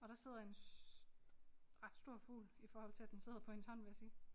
Og der sidder en ret stor fugl i forhold til at den sidder på hendes hånd vil jeg sige